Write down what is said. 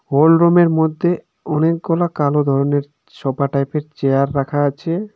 Whole রুমের মধ্যে অনেকগুলা কালো ধরনের সোফা টাইপের চেয়ার রাখা আছে।